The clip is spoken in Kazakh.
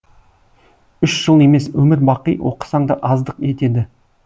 үш жыл емес өмір бақи оқысаң да аздық етеді